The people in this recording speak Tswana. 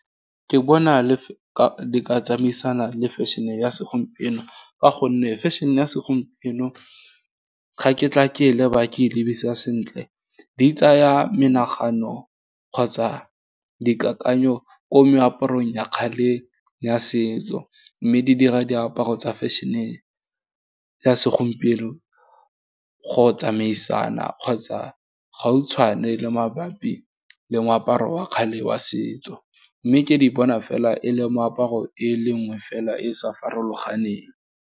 Ke bona le tsamaisana le fashion-e ya segompieno fa gonne fashion-e, ya segompieno ga ke tla ke leba ke lebisa sentle, di tsaya menagano, kgotsa dikakanyo, ko meaparong ya kgale ya setso. Mme di dira diaparo tsa fashion-e ya segompieno go tsamaisana kgotsa gautshwane le mabapi le moaparo wa kgale wa setso, mme ke di bona fela e le moaparo e le nngwe fela, e sa farologaneng.